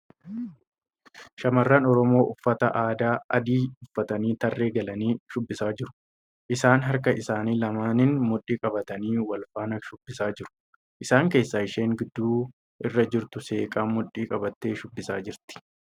Shamarran Oromoo uffata aadaa adii uffatanii tarree galanii shubbisaa jiru. Isaanis harka isaanii lamaaniin mudhii qabatanii wal faana shubbisaa jiru. Isaan keessaa isheen gidduu irra jirtu seeqaa mudhii qabattee shubbisaa jirti.